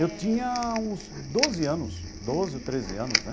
Eu tinha uns doze anos, doze ou treze anos, né?